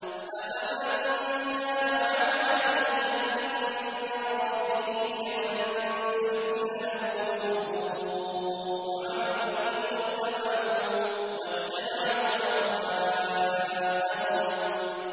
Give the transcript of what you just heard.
أَفَمَن كَانَ عَلَىٰ بَيِّنَةٍ مِّن رَّبِّهِ كَمَن زُيِّنَ لَهُ سُوءُ عَمَلِهِ وَاتَّبَعُوا أَهْوَاءَهُم